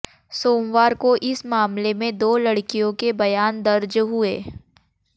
सोमवार को इस मामले में दो लड़कियों के बयान दर्ज हुए